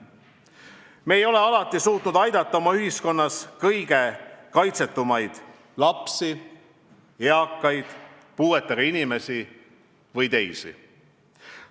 Me ei ole alati suutnud aidata oma ühiskonnas kõige kaitsetumaid: lapsi, eakaid, puuetega inimesi ja paljusid teisi.